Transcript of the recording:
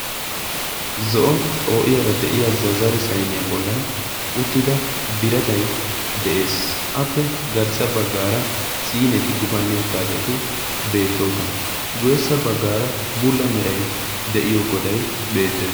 zo7o xoo7iyaara de7iya zazare sainiyaa bollan uttida biratai de7ees. appe garssa baggaara siyineti gufanni uttaageeti beettoosona. guweessa baggaara bulla merai de7iyo godai beettes.